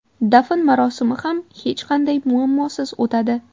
Dafn marosimi ham hech qanday muammosiz o‘tadi.